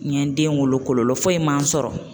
N ye n den wolo kɔlɔ foyi ma n sɔrɔ.